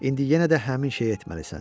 İndi yenə də həmin şeyi etməlisən.